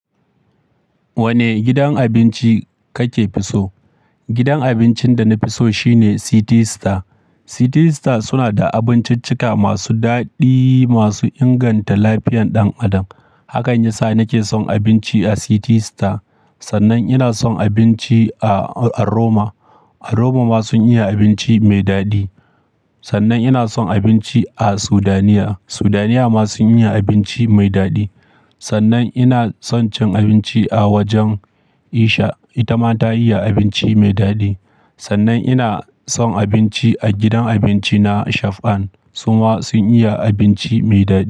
Wane gidan abinci kake fi so? Gidan abincin da na fi so shine City Star. City Star suna da abinciccika masu daɗi masu inganta lafiyan ɗan adam. Hakan yasa nake son abinci a City Star. Sannan ina son abinci a, a Roma. Robo ma sun iya abinci mai daɗi. Sannan ina son abinci a Sudaniya. Sudaniya ma sun iya abinci mai daɗi. Sannan ina son cin abinci a wajen isha, ita ma ta iya abinci mai daɗi. Sannan ina son abinci a gidan abinci na Shaf'an, su ma sun iya abinci mai daɗi.